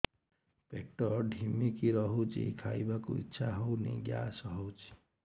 ପେଟ ଢିମିକି ରହୁଛି ଖାଇବାକୁ ଇଛା ହଉନି ଗ୍ୟାସ ହଉଚି